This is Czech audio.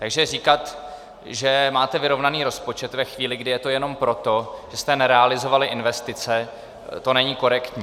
Takže říkat, že máte vyrovnaný rozpočet, ve chvíli, kdy je to jenom proto, že jste nerealizovali investice, to není korektní.